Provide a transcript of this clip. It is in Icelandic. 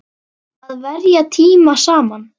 Að verja tíma saman.